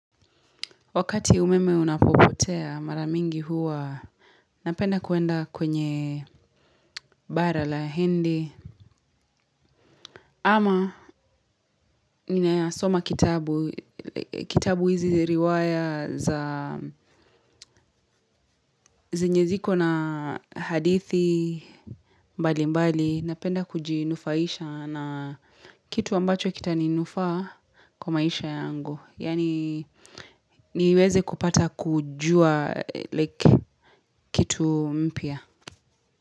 Wakati umeme unapopotea mara mingi huwa napenda kuenda kwenye bara la hindi. Ama ninasoma kitabu, kitabu hizi riwaya za zenye ziko na hadithi, mbali mbali. Napenda kujinufaisha na kitu ambacho kita ninufaa kwa maisha yangu. Yaani niweze kupata kujua like kitu mpya.